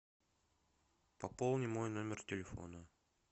пополни мой номер телефона